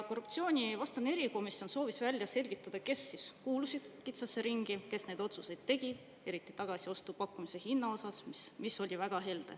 Korruptsioonivastane erikomisjon soovis välja selgitada, kes kuulusid kitsasse ringi, kes neid otsuseid tegid, eriti tagasiostupakkumise hinna kohta, mis oli väga helde.